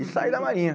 E saí da Marinha.